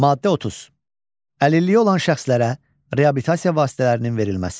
Maddə 30: Əlilliyi olan şəxslərə reabilitasiya vasitələrinin verilməsi.